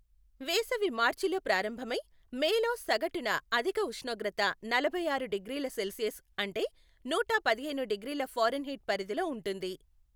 వేసవి మార్చిలో ప్రారంభమై, మేలో సగటున అధిక ఉష్ణోగ్రత నలభై ఆరు డిగ్రీల సెల్సియస్ అంటే నూట పదిహేను డిగ్రీల ఫారెన్ హీట్ పరిధిలో ఉంటుంది.